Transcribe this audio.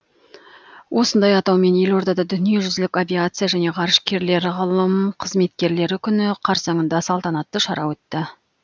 осындай атаумен елордада дүниежүзілік авиация және ғарышкерлер ғылым қызметкерлері күні қарсаңында салтанатты шара өтті